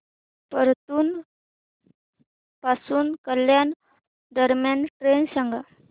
परतूर पासून कल्याण दरम्यान ट्रेन सांगा